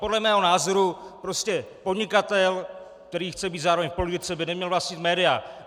Podle mého názoru prostě podnikatel, který chce být zároveň v politice, by neměl vlastnit média.